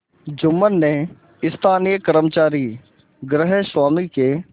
जुम्मन ने स्थानीय कर्मचारीगृहस्वामीके